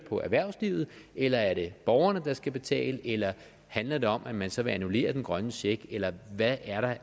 for erhvervslivet eller er det borgerne der skal betale eller handler det om at man så vil annullere den grønne check eller hvad er